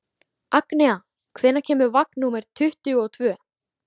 Agnea, hvenær kemur vagn númer tuttugu og tvö?